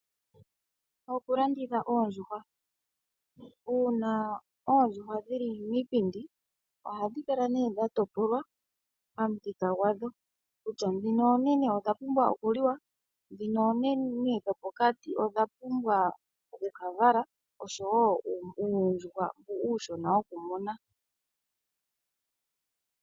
Uuna oondjuhwa tadhi pindikwa, ohadhi kala dha topolwa pamuthika gwadho. Ohashi kala nee shi ikwatelela kutya ngele oonene dha gwana okuliwa, nenge pamwe odhopokati dha gwana okuvala nenge uuyuhwa uushona wokumuna.